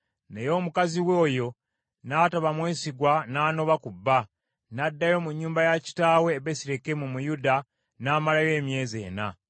Naye mukazi we oyo n’ataba mwesigwa n’anoba ku bba, n’addayo mu nnyumba ya kitaawe e Besirekemu mu Yuda n’amalayo emyezi ena.